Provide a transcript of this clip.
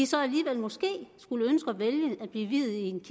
så alligevel måske skulle ønske at vælge at blive viet i en